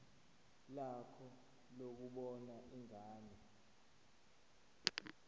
lakho lokubona ingane